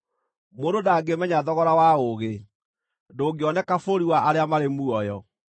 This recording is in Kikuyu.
Mũndũ ndangĩmenya thogora wa ũũgĩ; ndũngĩoneka bũrũri wa arĩa marĩ muoyo.